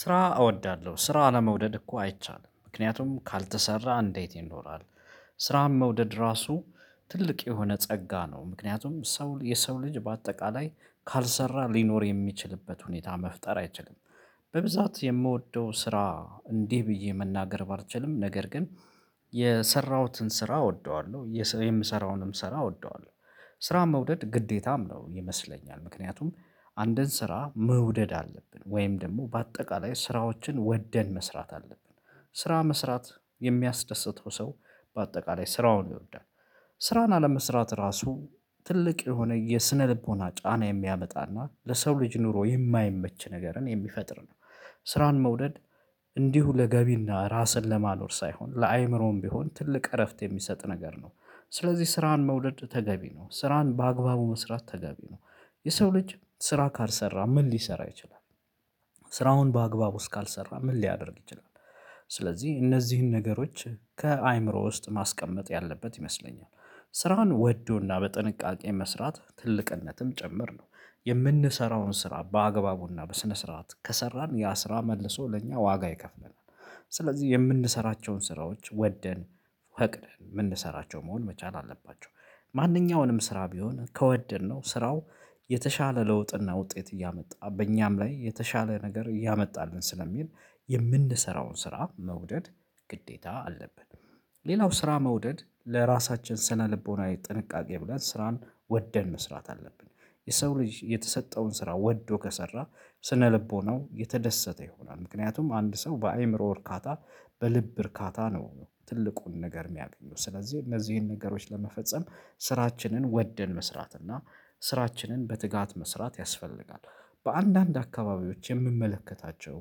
ስራ እወዳለሁ ስራ አለመውደድ እኮ አይቻልም ምክንያቱም ካልተሰራ እንዴት ይኖራል። ስራም መውደድ ራሱ ትልቅ የሆነ ጸጋ ነው። ምክንያቱም ሰው የሰው ልጅ በአጠቃላይ ካልሰራ ሊኖር የሚችልበት ሁኔታ መፍጠር አይችልም፤ በብዛት የምወደው ስራ እንዲህ ብዬ መናገር ባልችልም ነገር ግን የሰራሁትን ስራ እወደዋለሁ የምሰራውንም ስራ እወደዋለሁ። ስራ መውደድ ግዴታም ነው ይመስለኛል ምክንያቱም አንድን ስራ መውደድ አለብን ወይም ደግሞ በአጠቃላይ ስራዎችን ወደን መስራት አለብን። ስራ መስራት የሚያስደስተው ሰው በአጠቃላይ ስራውን ይወዳል፤ ስራን አለመስራት ራሱ ትልቅ የሆነ የስነልቦና ጫና የሚያመጣና ለሰው ልጅ ኑሮ የማይመች ነገርን የሚፈጥር ነው፤ ስራን መውደድ እንዲሁ ለገቢና ራስን ለማኖር ሳይሆን ለአእምሮም ቢሆን ትልቅ እረፍት የሚሰጥ ነገር ነው። ስለዚህ ስራን መውደድ ተገቢ ነው ስራን በአግባቡ መስራት ተገቢ ነው። የሰው ልጅ ስራ ካልሰራ ምን ሊሰራ ይችላል? ስራውን በአግባቡ እስካልሰራ ምን ሊያደርግ ይችላል? ስለዚህ እነዚህን ነገሮች ከአእምሮ ውስጥ ማስቀመጥ ያለበት ይመስለኛል። ስራን ወዶና በጥንቃቄ መስራት ትልቅነትም ጭምር ነው። የምንሰራውን ስራ በአግባቡና በስነ ስርዓት ከሰራን ያ ስራ መልሶ ለእኛ ዋጋ ይከፍለናል። ስለዚህ የምንሰራቸውን ስራዎች ወደን ፈቅደን የምንሰራቸው መሆን መቻል አለባቸው። ማንኛውንም ስራ ቢሆን ከወደድነው ስራው የተሻለ ለውጥና ውጤት እያመጣ በእኛም ላይ የተሻለ ነገር እያመጣልን ስለሚሄድ የምንሰራውን ስራ መውደድ ግዴታ አለብን። ሌላው ስራ መውደድ ለራሳችን ስነ ልቦናዊ ጥንቃቄ ብለን ስራን ወደን መስራት አለብን። የሰው ልጅ የተሰጠውን ስራ ወዶ ከሰራ ስነ ልቦናው የተደሰተ ይሆናል ምክንያቱም አንድ ሰው በአእምሮ እርካታ በልብ እርካታ ነው። ትልቁን ነገር የሚያገኙት ስለዚህ እነዚህን ነገሮች ለመፈጸም ስራችንን ወደን መስራት እና ስራችንን በትጋት መስራት ያስፈልጋል። በአንዳንድ አካባቢዎች የምመለከታቸው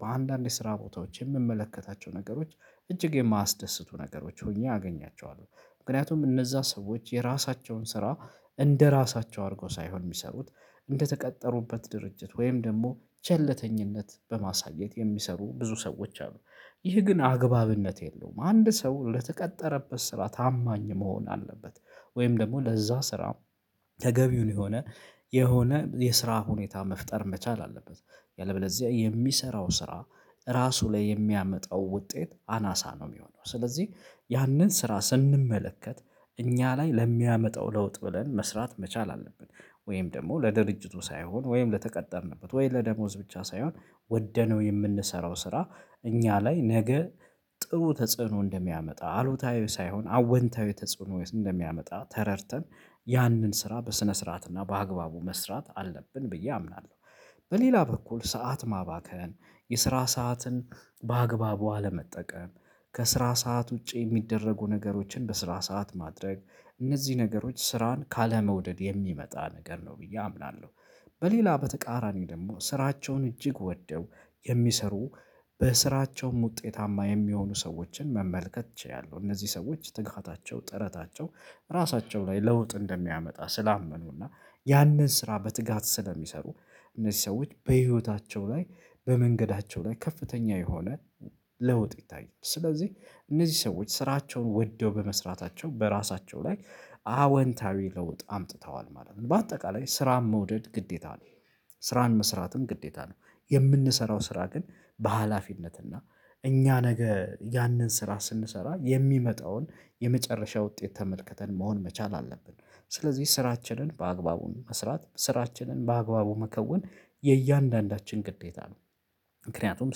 በአንዳንድ የስራ ቦታዎች የምመለከታቸው ነገሮች እጅግ የማያስደስቱ ነገሮች ሆኜ አገኛቸዋለሁ። ምክንያቱም እነዛ ሰዎች የራሳቸውን ስራ እንደራሳቸው አድርገው ሳይሆን የሚሰሩት እንደተቀጠሩበት ድርጅት ወይም ደግሞ ቸለተኝነት በማሳየት የሚሰሩ ብዙ ሰዎች አሉ። ይህ ግን አግባብነት የለውም አንድ ሰው ለተቀጠረበት ስራ ታማኝ መሆን አለበት። ወይም ደግሞ ለዛ ስራ ተገቢውን የሆነ የሆነ የስራ ሁኔታ መፍጠር መቻል አለበት። ያለበለዚያ የሚሰራው ስራ ራሱ ላይ የሚያመጣው ውጤት አናሳ ነው የሚሆነው፤ ስለዚህ ያንን ስራ ስንመለከት እኛ ላይ ለሚያመጣው ለውጥ ብለን መስራት መቻል አለብን። ወይም ደግሞ ለድርጅቱ ሳይሆን ወይም ለተቀጠርንበት ወይም ለደሞዝ ብቻ ሳይሆን ወደነው የምንሰራው ስራ እኛ ላይ ነገ ጥሩ ተጽዕኖ እንደሚያመጣ አሉታዊ ሳይሆን አወንታዊ ተጽዕኖ እንደሚያመጣ ተረድተን ያንን ስራ በስነ ስርዓት እና በአግባቡ መስራት አለብን ብዬ አምናለሁ። በሌላ በኩል ሰዓት ማባከን የስራ ሰዓትን በአግባቡ አለመጠቀም ከስራ ሰዓት ውጪ የሚደረጉ ነገሮችን በስራ ሰዓት ማድረግ እነዚህ ነገሮች ስራን ካለመውደድ የሚመጣ ነገር ነው ብዬ አምናለሁ። በሌላ በተቃራኒ ደግሞ ስራቸውን እጅግ ወደው የሚሰሩ በስራቸውም ውጤታማ የሚሆኑ ሰዎችን መመልከት ችያለሁ። እነዚህ ሰዎች ትጋታቸው ጥረታቸው ራሳቸው ላይ ለውጥ እንደሚያመጣ ስላመኑና ያንን ስራ በትጋት ስለሚሰሩ እነዚህ ሰዎች በህይወታቸው ላይ በመንገዳቸው ላይ ከፍተኛ የሆነ ለውጥ ይታያል ስለዚህ እነዚህ ሰዎች ስራቸውን ወደው በመስራታቸው በራሳቸው ላይ አወንታዊ ለውጥ አምጥተዋል ማለት ነው በአጠቃላይ ስራን መውደድ ግዴታ ነው። ስራን መስራትም ግዴታ ነው። የምንሰራው ስራ ግን በሃላፊነት እና እኛ ነገ ያንን ስራ ስንሰራ የሚመጣውን የመጨረሻ ውጤት ተመልክተን መሆን መቻል አለብን። ስለዚህ ስራችንን በአግባቡ መስራት ስራችንን በአግባቡ መከወን የእያንዳንዳችን ግዴታ ነው። ምክንያቱም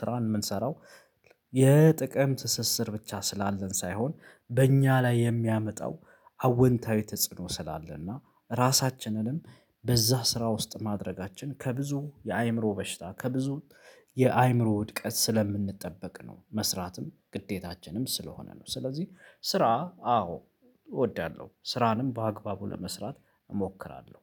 ስራውን የምንሰራው የጥቅም ትስስር ብቻ ስላለን ሳይሆን በእኛ ላይ የሚያመጣው አወንታዊ ተጽዕኖ ስላለና ራሳችንንም በዛ ስራ ውስጥ ማድረጋችን ከብዙ የአእምሮ በሽታ ከብዙ የአእምሮ ውድቀት ስለምንጠበቅ ነው መስራትም ግዴታችንም ስለሆነ ነው፤ ስለዚህ ስራ አዎ እወዳለሁ ስራንም በአግባቡ ለመስራት እሞክራለሁ፤